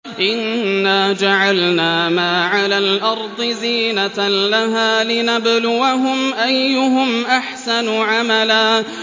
إِنَّا جَعَلْنَا مَا عَلَى الْأَرْضِ زِينَةً لَّهَا لِنَبْلُوَهُمْ أَيُّهُمْ أَحْسَنُ عَمَلًا